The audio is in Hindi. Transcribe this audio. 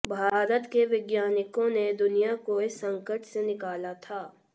भारत के वैज्ञानिकों ने दुनिया को इस संकट से निकाला था